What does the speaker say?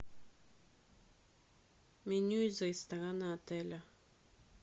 меню из ресторана отеля